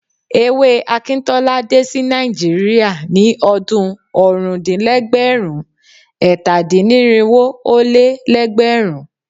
Ewé Akintola dé sí Nàìjíríà ní ọdún ọ̀rúndínlẹ́gbẹ̀rún-ẹ̀tàdínnírinwó-ó-lé-lẹ́gbẹ̀rún.